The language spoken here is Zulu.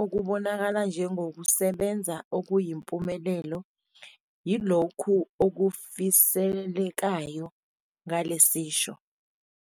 okungabonakala njengokusebenza okuyimpumelelo, yilokhu okufiselekayo ngale sisho.